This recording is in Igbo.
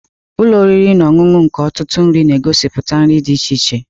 Ụlọ oriri na ọṅụṅụ nke ọtụtụ nri na-egosiputa nri dị iche iche.